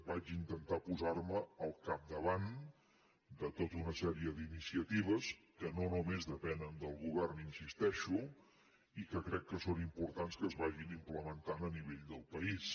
vaig intentar posarme al capdavant de tota una sèrie d’iniciatives que no només depenen del govern hi insisteixo i que crec que és important que es vagin implementant a nivell del país